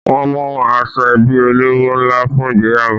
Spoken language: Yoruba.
Wọ́n mú aṣọ ẹbí olówó ńlá fún ìgbéyàwó